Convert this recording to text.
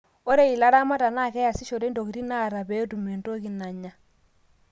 ore ilaramata naa keyasishore intokitin naata pee etum entoi nanya